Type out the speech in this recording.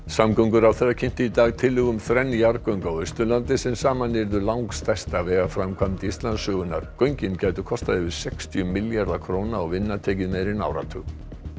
samgönguráðherra kynnti í dag tillögu um þrenn jarðgöng á Austurlandi sem saman yrðu langstærsta vegaframkvæmd Íslandssögunnar göngin gætu kostað yfir sextíu milljarða króna og vinna tekið meira en áratug